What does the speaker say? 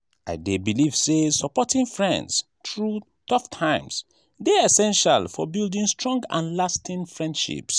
i dey believe say supporting friends through tough times dey essential for building strong and lasting friendships.